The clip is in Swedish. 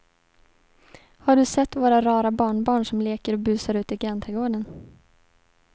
Har du sett våra rara barnbarn som leker och busar ute i grannträdgården!